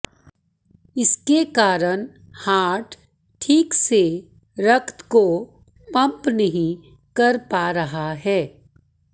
इसके कारण हार्ट ठीक से रक्त को पम्प नहीं कर पा रहा है